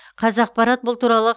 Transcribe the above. қазақпарат бұл туралы